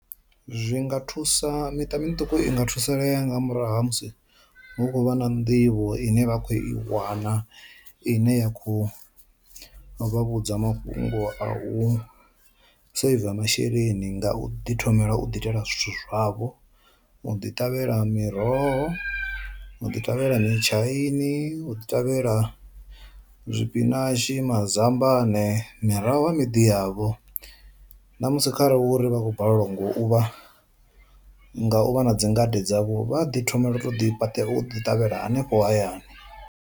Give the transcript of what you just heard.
Zwi nga thusa miṱa miṱuku i nga thusalea nga murahu ha musi hu khou vha na nḓivho ine vha khou i wana ine ya kho vhudza mafhungo a u saver masheleni nga u ḓi thomela u ḓi itela zwithu zwavho. U ḓi ṱavhela miroho, u ḓi ṱavhela mitshaini, u ḓi ṱavhela tshipinashi mazambane mirahu ha miḓi yavho, na musi kharali uri vha khou balelwa ngo u vha nga u vha na dzingade dzavho vha ḓi thoma u to ḓi ṱavhela hanefho hayani.